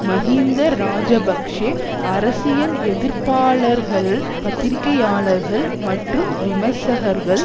மஹிந்த இராஜபக்ஷ அரசியல் எதிர்ப்பாளர்கள் பத்திரிகையாளர்கள் மற்றும் விமர்சகர்கள்